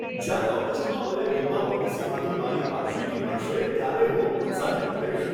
જયારે ઓગસ્ટમાં મને વીમા પોલિસીમાંથી મારી વાર્ષિકી મળશે ત્યારે હું ઉત્સાહિત થઈશ .